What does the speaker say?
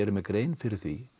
mér grein fyrir því